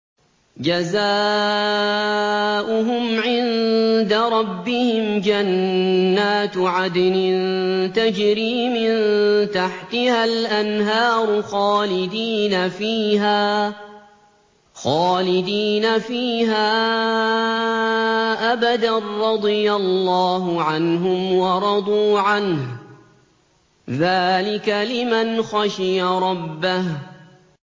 جَزَاؤُهُمْ عِندَ رَبِّهِمْ جَنَّاتُ عَدْنٍ تَجْرِي مِن تَحْتِهَا الْأَنْهَارُ خَالِدِينَ فِيهَا أَبَدًا ۖ رَّضِيَ اللَّهُ عَنْهُمْ وَرَضُوا عَنْهُ ۚ ذَٰلِكَ لِمَنْ خَشِيَ رَبَّهُ